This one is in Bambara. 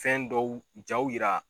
Jaw yira